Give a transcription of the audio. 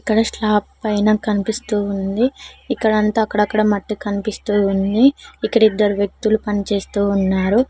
ఇక్కడ స్లాప్ పైన కనిపిస్తూ ఉంది ఇక్కడ అంతా అక్కడక్కడ మట్టి కనిపిస్తూ ఉంది ఇక్కడ ఇద్దరు వ్యక్తులు పని చేస్తూ ఉన్నారు.